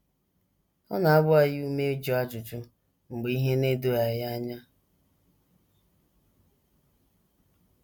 Ọ na - agba anyị ume ịjụ ajụjụ mgbe ihe na - edoghị anyị anya.